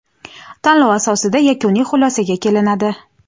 tanlov asosida yakuniy xulosaga kelinadi.